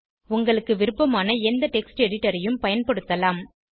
உங்களுக்கு விருப்பமான எந்த டெக்ஸ்ட் எடிட்டர் ஐயும் பயன்படுத்தலாம்